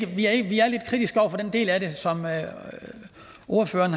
vi er lidt kritiske over for den del af det som ordføreren